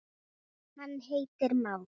hann heitir már.